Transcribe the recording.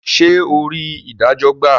Ṣe ò rí idajo gba?